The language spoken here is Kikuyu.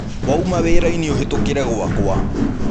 Wauma wĩra-inĩ, ũhĩtũkĩre gwakwa.